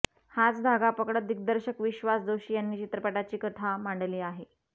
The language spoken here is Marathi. हाच धागा पकडत दिग्दर्शक विश्वास जोशी यांनी चित्रपटाची कथा मांडली आहे